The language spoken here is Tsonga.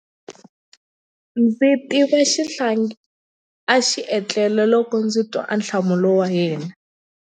Ndza swi tiva xihlangi a xi etlele loko ndzi twa ahlamulo wa yena.